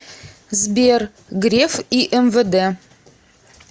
сбер греф и мвд